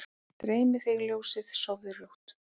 Dreymi þig ljósið, sofðu rótt